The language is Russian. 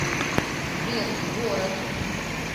сбер в город